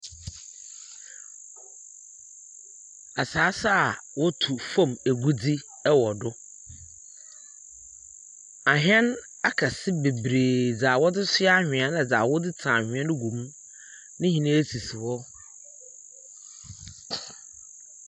Asaase a wotu famu egudze wɔ do. Ahɛn akɛse bebree dza wɔdze soa anhwea no na dza wɔdze tsi anhwea no gu mu, ne nyinaa sisi hɔ.